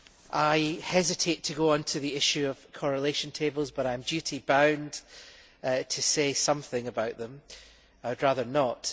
I hesitate to go on to the issue of correlation tables but I am duty bound to say something about them I would rather not.